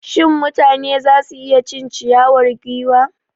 Shin mutane za su iya cin ciyawar giwa?